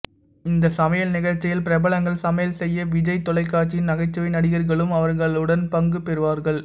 இந்த சமையல் நிகழ்ச்சியில் பிரபலங்கள் சமையல் செய்ய விஜய் தொலைக்காட்சியின் நகைச்சுவை நடிகர்களும் அவர்களுடன் பங்கு பெறுவார்கள்